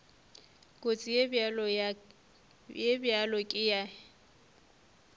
kotsi ye bjalo ka ye